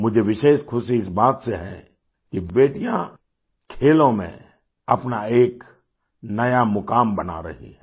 मुझे विशेष ख़ुशी इस बात से है कि बेटियाँ खेलों में अपना एक नया मुकाम बना रही हैं